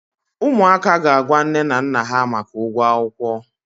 ụmụaka ga-agwa nne na nna ha maka ụgwọ akwụkwọ.